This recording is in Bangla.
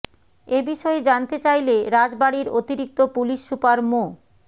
এ বিষয়ে জানতে চাইলে রাজবাড়ীর অতিরিক্ত পুলিশ সুপার মো